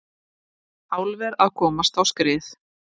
Álver að komast á skrið